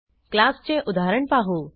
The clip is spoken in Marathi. क्लासचे उदाहरण पाहू